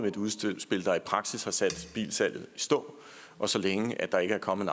et udspil der i praksis har sat bilsalget i stå og så længe der ikke er kommet